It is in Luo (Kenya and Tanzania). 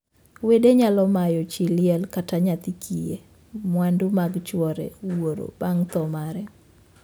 Wede nyalo mayo chii liel (kata nyithii kiye) mwandu mag chwore (wuoro) bang' thoo mare.